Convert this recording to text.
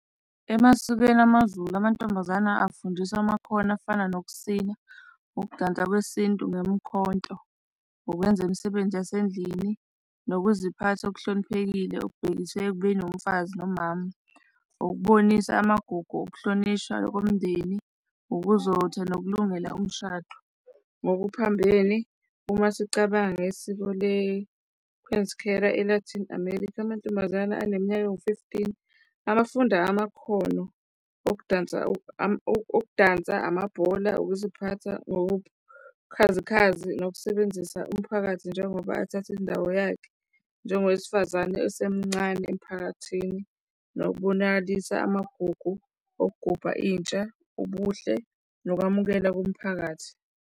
Emasikweni amaZulu amantombazane afundiwa amakhono afana nokusina, ukudansa kwesintu ngemikhonto, ukwenza imisebenzi yasendlini nokuziphatha okuhloniphekile okubhekiswe ekubeni umfazi nomama. Ukubonisa amagugu okuhlonishwa komndeni, ukuzotha nokulungela umshado. Ngokuphambene uma sicabanga ngesiko ele-Latin America, amantombazane aneminyaka ewu-fifteen abafuna amakhono okudansa, okudansa, amabhola, ukuziphatha ngobukhazikhazi nokusebenzisa umphakathi njengoba athathe indawo yakhe njengowesifazane esemncane emiphakathini, nobonakalisa amagugu okugubha intsha, ubuhle nokwamukela komphakathi.